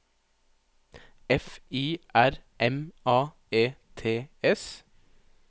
F I R M A E T S